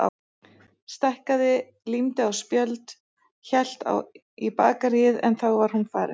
Stækkaði, límdi á spjöld, hélt í bakaríið en þá var hún farin.